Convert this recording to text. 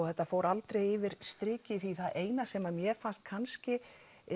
þetta fór aldrei yfir strikið í það eina sem mér fannst kannski